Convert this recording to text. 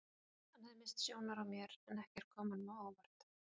Hann hafði misst sjónar á mér en ekkert kom honum á óvart.